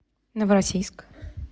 новороссийск